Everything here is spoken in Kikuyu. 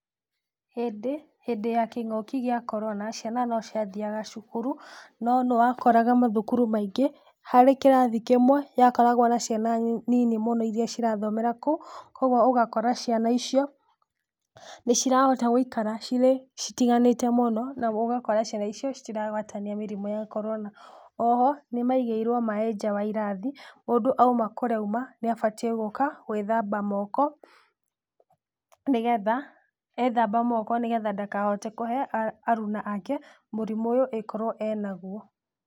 Hĩndĩ hĩndĩ ya kĩng'ũki gĩa korona ciana no ciathiaga cukuru no nĩ wakoraga mathukuru maingĩ harĩ kĩrathi kĩmwe gĩakoragwo na ciana nini mũno iria cirathomera kũu. Koguo ũgakora ciana icio nĩ cirahota gũikara cirĩ citiganĩte mũno na ũgakora ciana icio citiragwatania mĩrimũ ya korona. Oho nĩ maigĩirwo maaĩ nja wa irathi mũndũ auma kũrĩa auma nĩ abatiĩ gũka gwĩthamba moko nĩ getha ethamba moko nĩ getha ndakahote kũhe aruna ake mũrimũ ũyũ angĩkorwo enaguo.